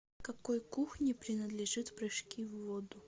к какой кухне принадлежит прыжки в воду